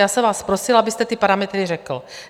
Já jsem vás prosila, abyste ty parametry řekl.